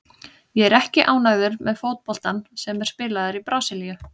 Ég er ekki ánægður með fótboltann sem er spilaður í Brasilíu.